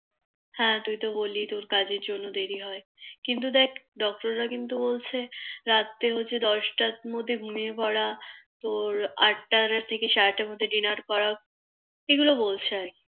হ্যাঁ তুই তো বললি তোর কাজের জন্য দেরি হয় কিন্তু দেখ Doctor রা কিন্তু বলছে রাত্রে বলছে দশটার মধ্যে ঘুমিয়ে পড়া তোর আটটা থেকে সাড়েআটটার মধ্যে Denar করা এগুলো বলছে আর